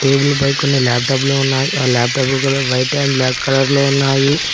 Table పై కొన్ని లాప్టాప్లు ఉన్నాయి ఆ లాప్టాప్లు colour white and black colour లో ఉన్నాయి.